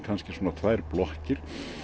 tvær blokkir